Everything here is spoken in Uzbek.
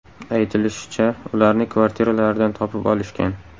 Aytilishicha, ularni kvartiralaridan topib olishgan.